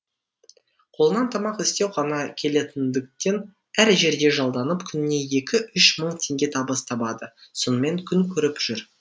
қолынан тамақ істеу ғана келетіндіктен әр жерде жалданып күніне екі үш мың теңге табыс табады сонымен күн көріп жүр